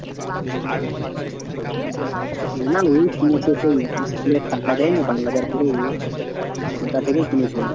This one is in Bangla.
না না ওই কিনেছে সেই school টাকা দেয়নি বারো হাজার করে ওটা থেকেই কিনেছে।